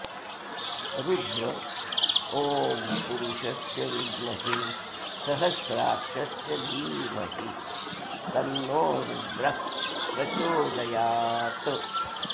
रुद्र ॐ पुरुषस्य विद्महे सहस्राक्षस्य धीमहि तन्नो रुद्रः प्रचोदयात्